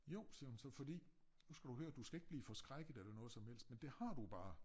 Jo siger hun så fordi nu skal du høre du skal ikke blive forskrækket eller noget som helst men det har du jo bare